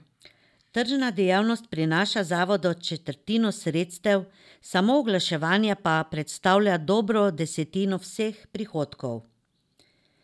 Tržna dejavnost prinaša zavodu četrtino sredstev, samo oglaševanje pa predstavlja dobro desetino vseh prihodkov.